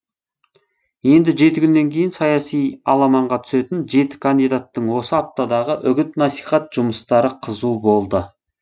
енді жеті күннен кейін саяси аламанға түсетін жеті кандидаттың осы аптадағы үгіт насихат жұмыстары қызу болды